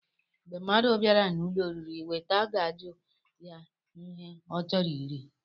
Mgbé mmadụ bịara n'ụlọ oriri, weta gaajụ ya ihe ọ chọrọ iri.